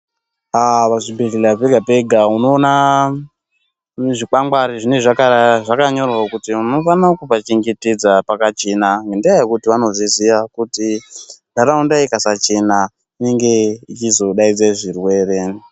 Pazvibhedhlera pega-pega panonga pane zvikwangwari zvinenge zvakanyorwa kuti inofanira kupachengetedza pakachena ngendaa yekuti vanozviziya kuti nharaunda ikasachena inenge ichizodaidza zvirwere.